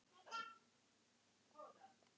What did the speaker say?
Oft hef ég minnt á þetta í ræðu og riti.